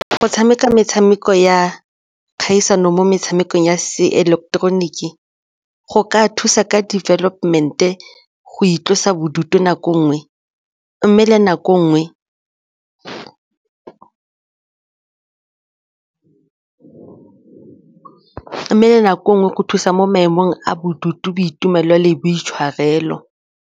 Go tshameka metshameko ya kgaisano mo metshamekong ya seileketeroniki go ka thusa ka development-e, go itlosa bodutu nako e nngwe mme le nako e nmgwe go thusa mo maemong a bodutu, boitumelo le boitshwarelo.